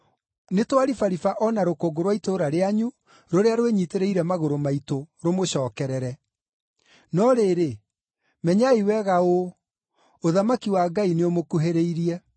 ‘Nĩtwaribariba o na rũkũngũ rwa itũũra rĩanyu rũrĩa rwĩnyiitĩrĩire magũrũ maitũ, rũmũcookerere. No rĩrĩ, menyai wega ũũ: ũthamaki wa Ngai nĩũmũkuhĩrĩirie.’